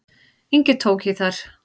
Ingi tók í þær.